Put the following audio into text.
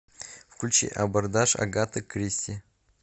включи абордаж агаты кристи